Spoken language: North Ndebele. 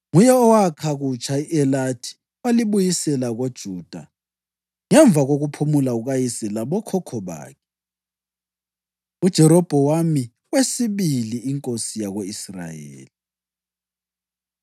Nguye owakha kutsha i-Elathi walibuyisela koJuda ngemva kokuphumula kukayise labokhokho bakhe. UJerobhowamu Wesibili Inkosi Yako-Israyeli